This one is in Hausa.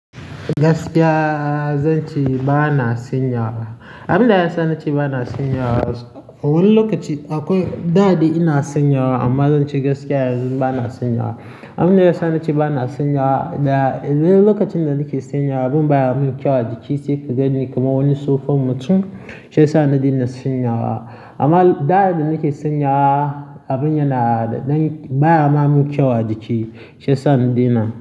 Gaskiya zan ce bana senyawa. Abin da ya sa na ce ba na senyawa wani lokaci akwai, da dai ina senyawa amma zan ce gaskiya yanzu ba na senyawa. Abunda yasa nace bana senyawa da idan lokacin da nike senyawa da abun baya man kyau a jiki sai ka ganni kamar wani sofon mutum sai sa na dena senyawa amma lo da da nake senyawa, abin yana da ɗan baya ma mun kyau a jiki shi ya sa na daina.